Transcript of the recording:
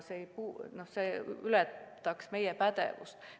See ületaks meie pädevuse.